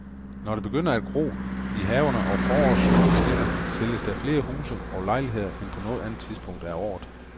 Når det begynder at gro i haverne, og forårssolen skinner, sælges der flere huse og lejligheder end på noget andet tidspunkt af året.